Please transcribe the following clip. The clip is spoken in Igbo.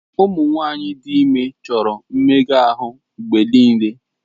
Ụmụ nwanyị dị ime chọrọ mmega ahụ mgbe niile.